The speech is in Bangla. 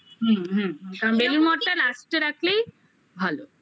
হুম হুম বেলুড় মঠটা Last এ রাখলেই ভালো